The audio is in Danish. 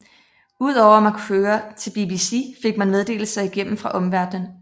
Ud over at man kunne høre til BBC fik man meddeleser igennem fra omverden